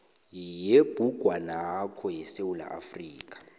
yebhugwanakho yesewula afrika